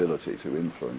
umhverfinu